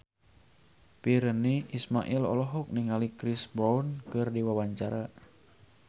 Virnie Ismail olohok ningali Chris Brown keur diwawancara